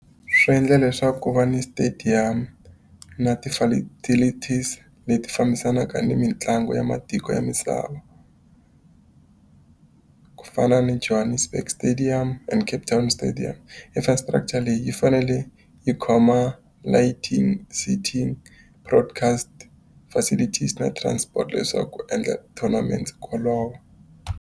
Swi endla leswaku ku va ni stadium na leti fambisanaka ni mitlangu ya matiko ya misava. Ku fana ni Johannesburg stadium and Cape Town stadium. Infrastructure leyi yi fanele yi khoma broadcast facilities na transport leswaku endla tournament ku olova.